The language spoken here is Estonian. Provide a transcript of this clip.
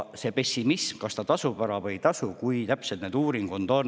On pessimismi selles suhtes, kas ta tasub ära või ei tasu, et kui täpsed need uuringud on.